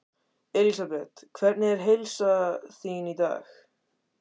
Elísabet: Hvernig er heilsa þín í dag?